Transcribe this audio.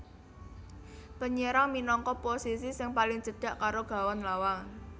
Penyerang minangka posisi sing paling cedhak karo gawang lawan